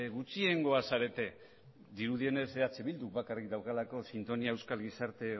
gutxiengoa zarete dirudienez eh bilduk bakarrik daukalako sintonia euskal gizarte